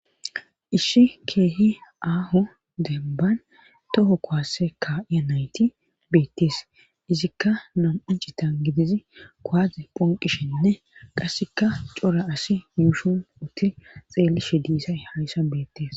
Ishi keehi aaho denban toho kowasse ka7iya nayti beettees izikka nam7anchitan gidizi koade phonqishinne qasseka cora asi muushun utti xeelishe diisay hayssa beettees